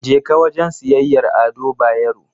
Jeka wajen siyayyar Ado Bayero.